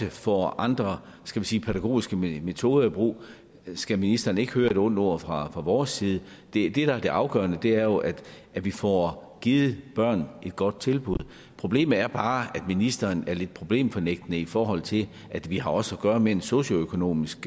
får andre skal vi sige pædagogiske metoder i brug skal ministeren ikke høre et ondt ord fra vores side det der er det afgørende er jo at vi får givet børn et godt tilbud problemet er bare at ministeren er lidt problemfornægtende i forhold til at vi også har at gøre med en socioøkonomisk